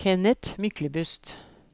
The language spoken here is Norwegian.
Kenneth Myklebust